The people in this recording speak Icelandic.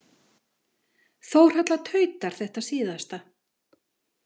Þórhalla tautar þetta síðasta.